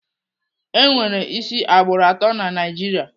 Enwere isi agbụrụ atọ na Naijiria.